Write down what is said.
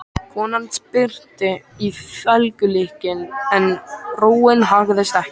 Konan spyrnti í felgulykilinn en róin haggaðist ekki.